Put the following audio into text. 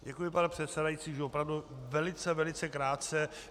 Děkuji, pane předsedající, již opravdu velice, velice krátce.